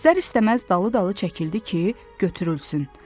İstər-istəməz dalı-dalı çəkildi ki, götürülsün.